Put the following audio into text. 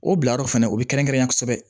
O bilayɔrɔ fɛnɛ o bɛ kɛrɛnkɛrɛnnen ya kosɛbɛ